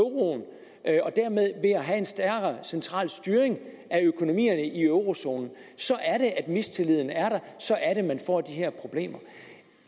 dermed har en stærkere central styring af økonomierne i eurozonen så er det at mistilliden er der så er det man får de her problemer